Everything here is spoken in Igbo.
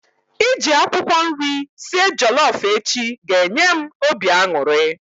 Iji akwụkwọ nri sie jollof echi ga enye m obi aṅụrị